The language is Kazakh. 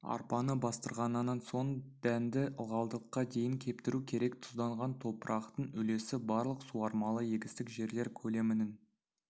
арпаны бастырғаннан соң дәнді ылғалдылыққа дейін кептіру керек тұзданған топырақтың үлесі барлық суармалы егістік жерлер көлемінің